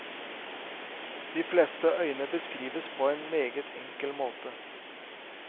De fleste øyene beskrives på en meget enkel måte.